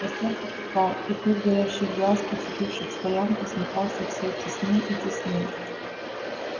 костёр потухал и круг горящих глаз оцепивших стоянку смыкался все теснее и теснее